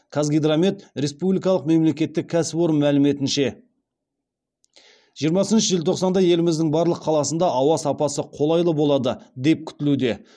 қазгидромет республикалық мемлекеттік кәсіпорын мәліметінше жиырмасыншы желтоқсанда еліміздің барлық қаласында ауа сапасы қолайлы болады деп күтілуде